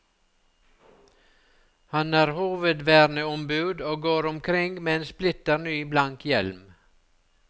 Han er hovedverneombud og går omkring med en splitter ny, blank hjelm.